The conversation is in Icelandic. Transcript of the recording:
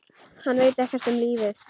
Hann veit ekkert um lífið.